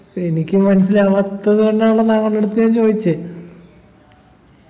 എനിക്ക് മനസിലാവാത്തത് കൊണ്ടാണല്ലോ താങ്കളുടെ അടുത്ത് ഞാൻ ചോയിച്ചേ